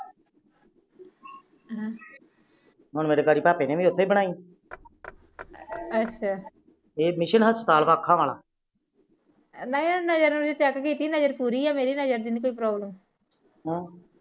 ਹਮ ਮੇਰੇ ਬੜੇ ਭਾਪੇ ਨੇ ਵੀ ਉਥੋ ਬਣਾਈ ਅੱਛਾ ਹਸਪਤਾਲ ਅੱਖਾ ਆਲਾ ਨਜਰ ਪੂਰੀ ਆ ਨਜਰ ਦੀ ਨੀ ਕੋਈ ਪ੍ਰੋਬਲਮ ਹਮ